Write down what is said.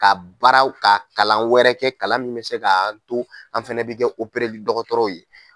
Ka baaraw ka kalan wɛrɛ kɛ kalan min bɛ se k'a to an fana bɛ kɛ li dɔgɔtɔrɔw ye